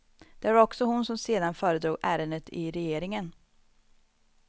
Det var också hon som sedan föredrog ärendet i regeringen.